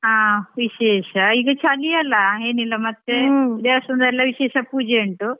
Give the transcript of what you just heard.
ಹಾ ವಿಶೇಷ ಈಗ ಚಳಿಯಲ್ಲಾ ಏನಿಲ್ಲಾ ಮತ್ತೇ ದೇವಸ್ಥಾನದಲ್ಲಿ ವಿಶೇಷ ಪೂಜೆ ಉಂಟು.